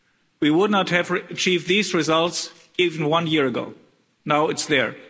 We would not have achieved these results even one year ago now it's there.